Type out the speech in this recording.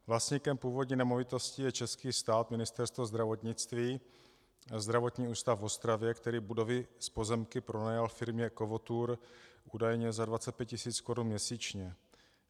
Vlastníkem původní nemovitosti je český stát, Ministerstvo zdravotnictví, Zdravotní ústav v Ostravě, který budovy s pozemky pronajal firmě Kovotour údajně za 25 tisíc korun měsíčně.